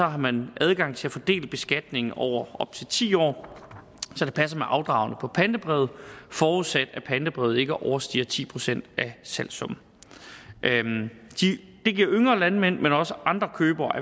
har man adgang til at fordele beskatningen over op til ti år så det passer med afdragene på pantebrevet forudsat at pantebrevet ikke overstiger ti procent af salgssummen det giver yngre landmænd men også andre købere